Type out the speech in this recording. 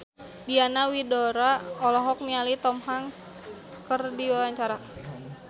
Diana Widoera olohok ningali Tom Hanks keur diwawancara